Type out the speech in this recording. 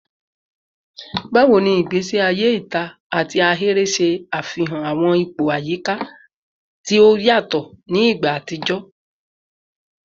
Bawo ni igbesi aye ita ati ahere ṣe afihan awọn ipo ayika ti o yatọ ni igba atijọ?